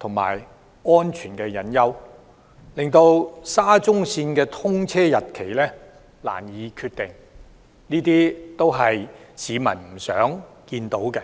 和造成安全隱憂，令沙中線的通車日期難以確定，這些都是市民不願見到的。